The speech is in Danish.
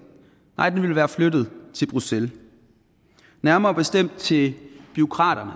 nej beslutningen vil være flyttet til bruxelles nærmere bestemt til bureaukraterne